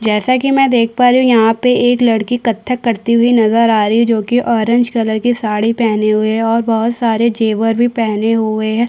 जैसा की मई देख पा रही हूँ यहाँ पे एक लड़की कत्थक करती हुई नज़र आ रही हैं जो की ऑरेंज कलर की साड़ी पहनी हुई हैं और बहुत सारे जेवर भी पहने हुए हैं।